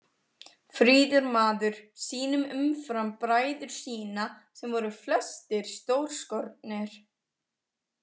Fríður maður sýnum, umfram bræður sína sem voru flestir stórskornir.